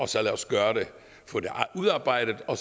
få det udarbejdet og